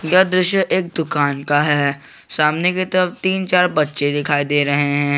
यह दृश्य एक दुकान का है सामने की तरफ तीन चार बच्चे दिखाई दे रहे है।